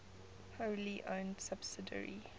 wholly owned subsidiary